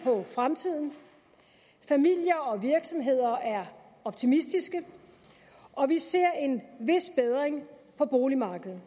på fremtiden familier og virksomheder er optimistiske og vi ser en vis bedring på boligmarkedet